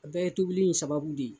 O bɛɛ ye tobili in sababu de ye.